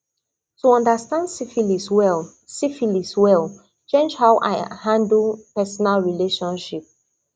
to understand syphilis well syphilis well change how i handle personal relationship